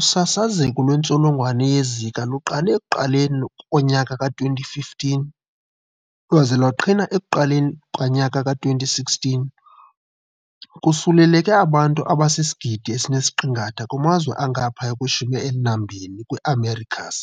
Usasazeko lwentsholongwanye yeZika luqale ekuqaleni lowama-2015 lwaze lwaqhina ekuqaleni lowama-2016, kusuleleke abantu abasisigidi esi-1.5 kumazwe angaphaya kwe-12 kwiiAmericas.